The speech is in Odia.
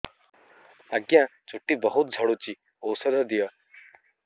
ଆଜ୍ଞା ଚୁଟି ବହୁତ୍ ଝଡୁଚି ଔଷଧ ଦିଅ